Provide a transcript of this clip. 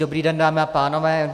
Dobrý den, dámy a pánové.